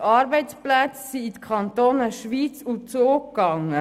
370 Arbeitsplätze gingen in die Kantone Schwyz und Zug.